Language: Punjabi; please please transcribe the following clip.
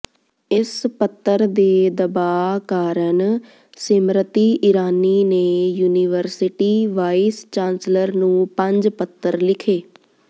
ਇਸ ਪੱਤਰ ਦੇ ਦਬਾਅ ਕਾਰਨ ਸਿਮ੍ਰਤੀ ਇਰਾਨੀ ਨੇ ਯੂਨੀਵਰਸਿਟੀ ਵਾਇਸ ਚਾਂਸਲਰ ਨੂੰ ਪੰਜ ਪੱਤਰ ਲਿਖੇ